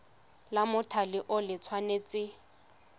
la mothale o le tshwanetse